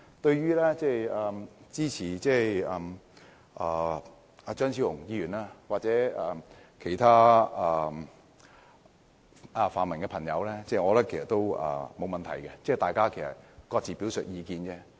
對於支持張超雄議員的修訂或其他泛民議員的意見，我覺得是沒有問題的，大家各自表述意見。